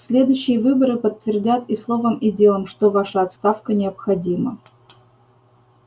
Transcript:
следующие выборы подтвердят и словом и делом что ваша отставка необходима